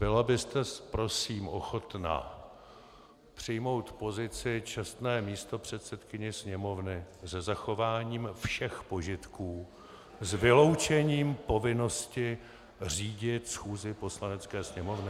Byla byste prosím ochotna přijmout pozici čestné místopředsedkyně Sněmovny se zachováním všech požitků s vyloučením povinnosti řídit schůzi Poslanecké sněmovny? .